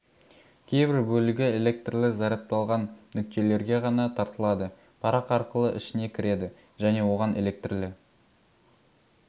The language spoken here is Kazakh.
кейбір бөлігі электрлі зарядталған нүктелерге ғана тартылады парақ арқылы ішіне кіреді және оған электрлі